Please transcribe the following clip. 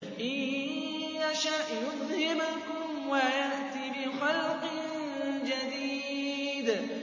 إِن يَشَأْ يُذْهِبْكُمْ وَيَأْتِ بِخَلْقٍ جَدِيدٍ